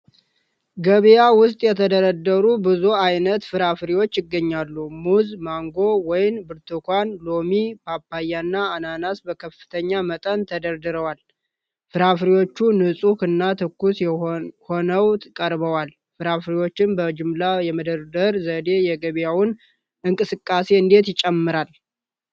ገበያ ውስጥ የተደረደሩ ብዙ አይነት ፍራፍሬዎች ይገኛሉ። ሙዝ፣ ማንጎ፣ ወይን፣ ብርቱካን፣ ሎሚ፣ ፓፓያና አናናስ በከፍተኛ መጠን ተደርድረዋል። ፍራፍሬዎቹ ንፁህ እና ትኩስ ሆነው ቀርበዋል። ፍራፍሬዎችን በጅምላ የመደርደር ዘዴ የገበያውን እንቅስቃሴ እንዴት ይጨምራል?